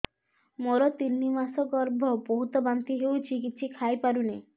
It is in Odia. ମୋର ତିନି ମାସ ଗର୍ଭ ବହୁତ ବାନ୍ତି ହେଉଛି କିଛି ଖାଇ ପାରୁନି